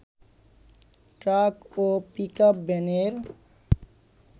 truck ও pickup ভ্যানের